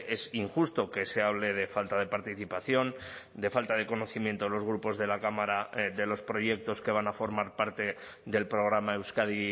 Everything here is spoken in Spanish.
es injusto que se hable de falta de participación de falta de conocimiento de los grupos de la cámara de los proyectos que van a formar parte del programa euskadi